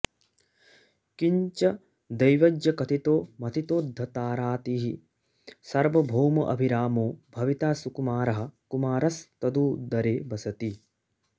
किञ्च दैवज्ञकथितो मथितोद्धतारातिः सार्वभौमोऽभिरामो भविता सुकुमारः कुमारस्त्वदुदरे वसति